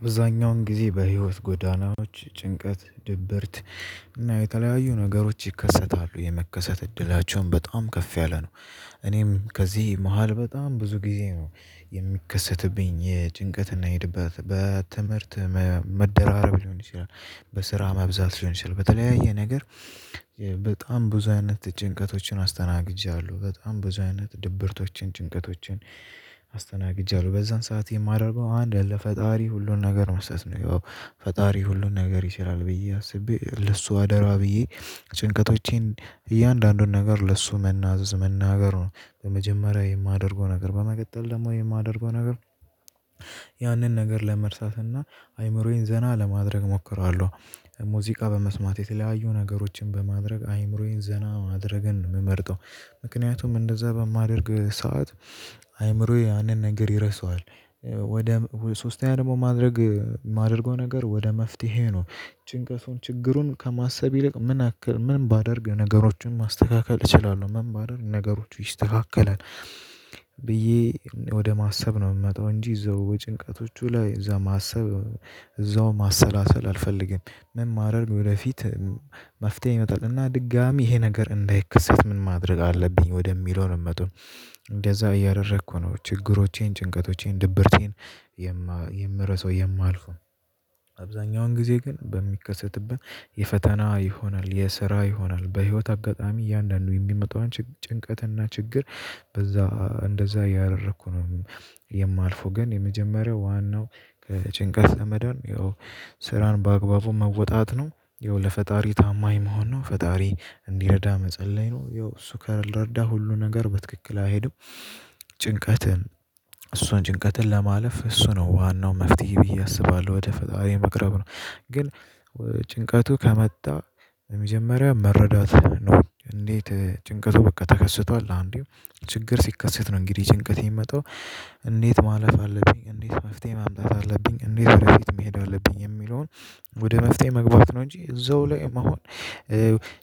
አብዛኛውን ጊዜ በህይወት ጎዳናዎች ጭንቀት ድብርት እና የተለያዩ ነገሮች ይከሰታሉ። የመከሰት እድላቸውም በጣም ከፍ ያለ ነው። እኔም ከዚህ መሃል በጣም ብዙ ጊዜ ነው የሚከሰትብኝ የጭንቀት እና የድባት። በትምህርት መደራረብ ሊሆን ይችላል፤ በስራ መብዛት ሊሆን ይችላል በተለያየ ነገር በጣም ብዙ አይነት ጭንቀቶችን አስተናግጃለሁ። በጣም ብዙ አይነት ድብርቶችን፣ ጭንቀቶችን አስተናግጃለሁ። በዛን ሰዓት የማደርገው አንድ ለፈጣሪ ሁሉን ነገር መስጠት ነው። ያው ፈጣሪ ሁሉን ነገር ይሰራል ብዬ አስቤ፤ ለሱ አደራ ብዬ ጭንቀቶቼን እያንዳንዱን ነገር ለሱ መናዘዝ መናገሩ ነው በመጀመሪያ የማደርገው ነገር። በመቀጠል ደግሞ የማደርገው ነገር ያንን ነገር ለመርሳትና አይምሮዬን ዘና ለማድረግ እሞክራለሁ። ሙዚቃ በመስማት የተለያዩ ነገሮችን በማድረግ አይምሮዬን ዘና ማድረግን ነው የምመርጠው። ምክንያቱም እንደዛ በማደርግ ሰዓት አይምሮዬ ያንን ነገር ይረሳዋል። ወደ ሶስተኛ ደግሞ ማድረግ የማደርገው ነገር ወደ መፍትሄ ነው። ጭንቀቱን ችግሩን ከማሰብ ይልቅ ምን አክል ምን ባደርግ ነገሮቹን ማስተካከል እችላለሁ፤ ምን ባደርግ ነገሮቹ ይስተካከላል ብዬ ወደ ማሰብ ነው የምመጣው እንጂ እዛው በጭንቀቶቹ ላይ እዛ ማሰብ እዛው ማሰላሰል አልፈልግም። ምን ባደርግ ወደፊት መፍትሄ ይመጣል እና ድጋሚ ይሄ ነገር እንዳይከሰት ምን ማድረግ አለብኝ ወደሚለው ነው የምመጣው። እንደዛ እያደረኩ ነው ችግሮቼን፣ ጭንቀቶቼን፣ ድብርቴን የምረሳው የማልፈው። አብዛኛውን ጊዜ ግን በሚከሰትብን የፈተና ይሆናል፣ የስራ ይሆናል፣ በህይወት አጋጣሚ እያንዳንዱ የሚመጣውን ጭንቀትና ችግር በዛ እንደዛ እያደረኩ ነው የማልፈው። ግን የመጀመሪያው ዋናው ከጭንቀት ለመዳን ይኸው ስራን በአግባቡ መወጣት ነው። ያው ለፈጣሪ ታማኝ መሆን ነው። ፈጣሪ እንዲረዳ መጸለይ ነው። ይኸው እሱ ካልረዳ ሁሉ ነገር በትክክል አይሄድም። ጭንቀትን እሱን ጭንቀትን ለማለፍ እሱ ነው ዋናው መፍትሄ ብዬ አስባለሁ። ወደ ፈጣሪ መቅረብ ነው። ግን ጭንቀቱ ከመጣ በመጀመሪያ መረዳት ነው። እንዴት ጭንቀቱ በቃ ተከስቷል አንዴ ችግር ሲከሰት ነው እንግዲህ ጭንቀት የሚመጣው። እንዴት ማለፍ አለብኝ፤ እንዴት መፍትሄ ማምጣት አለብኝ፤ እንዴት ወደፊት መሄድ አለብኝ የሚለውን ወደ መፍትሄ መግባት ነው እንጂ እዛው ላይ መሆን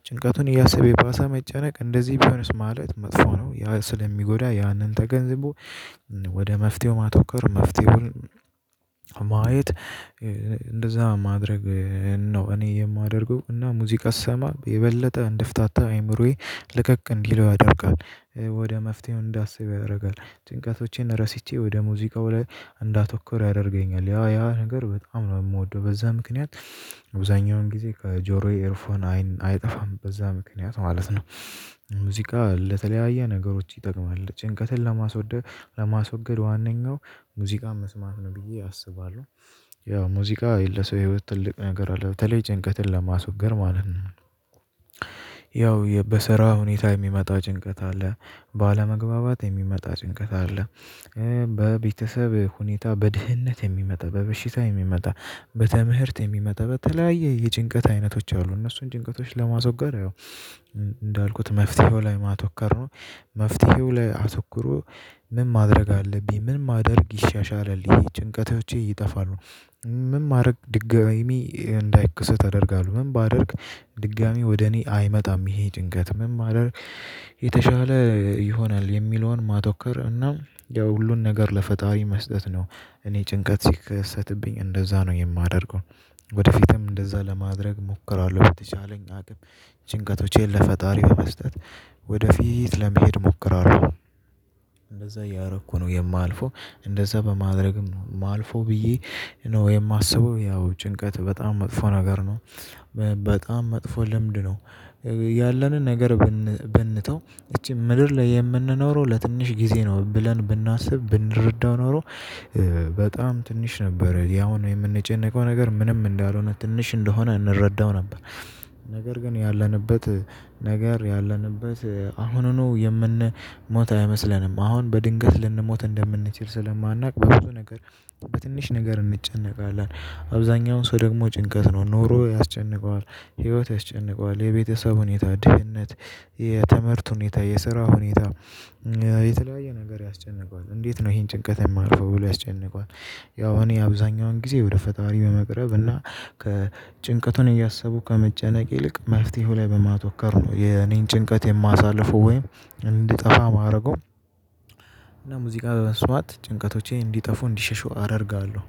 ጭንቀቱን እያሰበ የባሳ መጨነቅ እንደዚህ ቢሆንስ ማለት መጥፎ ነው። ያ ስለሚጎዳ ያንን ተገንዝቦ ወደ መፍትሄው ማተኮር፤ መፍትሄውን ማየት እንደዛ ማድረግ ነው እኔ የማደርገው። እና ሙዚቃ ሰማ የበለጠ እንድፍታታ አይምሮዬ ለቀቅ እንዲለው ያደርጋል። ወደ መፍትሄው እንዳስብ ያደርጋል። ጭንቀቶቼን ረስቼ ወደ ሙዚቃው ላይ እንዳተኩር ያደርገኛል። ያ ያ ነገር በጣም ነው የምወደው። በዛ ምክንያት አብዛኛውን ጊዜ ከጆሮዬ ኤርፎን አይጠፋም በዛ ምክንያት ማለት ነው። ሙዚቃ ለተለያየ ነገሮች ይጠቅማል። ጭንቀትን ለማስወገድ ዋነኛው ሙዚቃን መስማት ነው ብዬ አስባለሁ። ያው ሙዚቃ ለሰው የህይወት ትልቅ ነገር አለው። በተለይ ጭንቀትን ለማስወገድ ማለት ነው። ያው በስራ ሁኔታ የሚመጣ ጭንቀት አለ፤ ባለመግባባት የሚመጣ ጭንቀት አለ፤ በቤተሰብ ሁኔታ፤ በድህነት የሚመጣ፤ በበሽታ የሚመጣ፤ በትምህርት የሚመጣ በተለያየ የጭንቀት አይነቶች አሉ። እነሱን ጭንቀቶች ለማስወገድ ያው እንዳልኩት መፍትሄው ላይ ማተኮር ነው። መፍትሄው ለይ አተኩሩ። ምን ማድረግ አለብኝ፤ ምን ማደርግ ይሻሻላል፤ ጭንቀቶቼ ይጠፋሉ፤ ምን ማደረግ ድጋሚ እንዳይከሰት አደርጋለሁ፤ ምን ባደርግ ድጋሚ ወደ እኔ አይመጣም ይሄ ጭንቀት፤ መን ባደርግ የተሻለ ይሆናል የሚለውን ማተኮር እና ያው ሁሉን ነገር ለፈጣሪ መስጠት ነው። እኔ ጭንቀት ሲከሰትብኝ እንደዛ ነው የማደርገው። ወደፊትም እንደዛ ለማድረግ እሞክራለሁ። በተቻለኝ አቅም ጭንቀቶቼን ለፈጣሪ በመስጠት ወደፊት ለመሄድ እሞክራለሁ። እንደዛ እያረኩ ነው የማልፈው እንደዛ በማድረግም ነው የማልፈው ብዬ ነው የማስበው። ያው ጭንቀት በጣም መጥፎ ነገር ነው። በጣም መጥፎ ልምድ ነው ያለንን ነገር ብንተው፤ እቺ ምድር ላይ የምንኖረው ለትንሽ ጊዜ ነው ብለን ብናስብ ብንረዳው ኖሮ፤ በጣም ትንሽ ነበር። ያሁኑ የምንጨነቀው ነገር ምንም እንዳልሆነ ትንሽ እንደሆነ እንረዳው ነበር። ነገር ግን ያለንበት ነገር ያለንበት አሁኑኑ የምንሞት አይመስለንም። አሁን በድንገት ልንሞት እንደምንችል ስለማናውቅ በብዙ ነገር በትንሽ ነገር እንጨነቃለን። አብዛኛውን ሰው ደግሞ ጭንቀት ነው ኑሮ ያስጨንቀዋል፤ ህይወት ያስጨንቀዋል፤ የቤተሰብ ሁኔታ፤ ድህነት፤ የትምህርት ሁኔታ፤ የስራ ሁኔታ የተለያየ ነገር ያስጨንቀዋል። እንዴት ነው ይሄን ጭንቀት የማልፈው ብሎ ያስጨንቀዋል። ያው እኔ አብዛኛውን ጊዜ ወደ ፈጣሪ በመቅረብ እና ከጭንቀቱን እያሰቡ ከመጨነቅ ይልቅ መፍትሄው ላይ በማተኮር ነው የኔን ጭንቀት የማሳልፈው ወይም እንዲጠፋ የማደርገው። እና ሙዚቃ በመስማት ጭንቀቶቼ እንዲጠፉ እንዲሸሹ አደርጋለሁ።